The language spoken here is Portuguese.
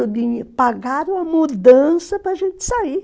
pagaram a mudança para a gente sair.